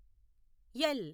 L